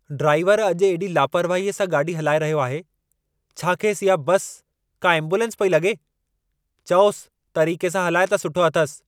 ड्राइवरु अॼु एॾी लापरवाहीअ सां गाॾी हलाए रहियो आहे। छा खेसि इहा बस, का एम्बुलेंस पेई लॻे? चओसि, तरीक़े सां हालाए त सुठो अथसि।